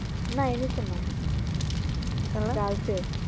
না NS এ না Girls এ